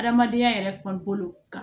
Adamadenya yɛrɛ kɔlo ka